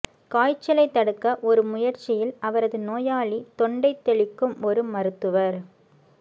காய்ச்சலை தடுக்க ஒரு முயற்சியில் அவரது நோயாளி தொண்டை தெளிக்கும் ஒரு மருத்துவர்